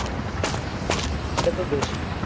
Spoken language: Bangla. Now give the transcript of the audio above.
এটাতো দেশই